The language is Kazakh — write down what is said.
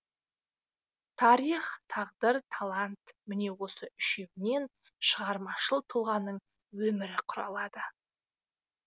тарих тағдыр талант міне осы үшеуінен шығармашыл тұлғаның өмірі құралады